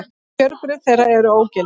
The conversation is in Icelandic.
Kjörbréf þeirra eru ógild